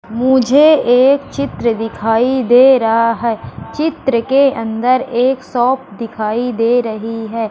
मुझे एक चित्र दिखाई दे रहा है चित्र के अंदर एक शॉप दिखाई दे रही है।